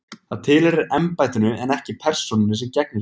Það tilheyrir embættinu en ekki persónunni sem gegnir því.